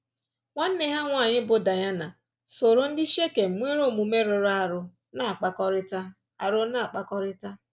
Nwanne ha nwanyị bụ́ Daịna sooro ndị Shekem nwere omume rụrụ arụ na-akpakọrịta. arụ na-akpakọrịta.